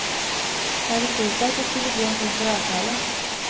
Jeg hadde tro på at det skulle bli en form for avtale.